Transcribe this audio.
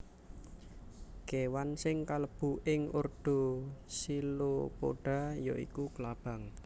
Kéwan sing kalebu ing ordo Chilopoda ya iku klabang